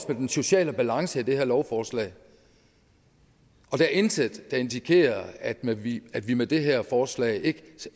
den sociale balance i det her lovforslag der er intet der indikerer at vi at vi med det her forslag ikke